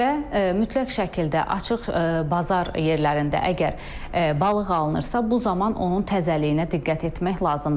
Və mütləq şəkildə açıq bazar yerlərində əgər balıq alınırsa, bu zaman onun təzəliyinə diqqət etmək lazımdır.